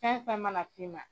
Fɛnfɛn mana fiman.